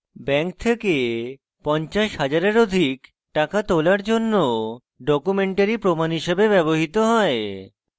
bank থেকে 50000 এর অধিক টাকা তোলার জন্য documentary প্রমাণ হিসেবে ব্যবহৃত হয়